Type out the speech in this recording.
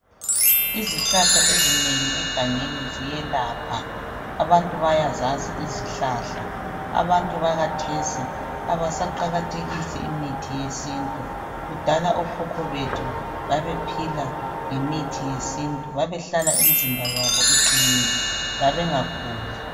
Izihlahla ezinengi egangeni ziyelapha. Abantu bayazazi izihlahla. Abantu bakhathesi abasaqakathekisi imithi yesintu, kudala okhokho bethu babephila ngemithi yesintu. Babehlala imzimba yabo iqinile, babengaguli.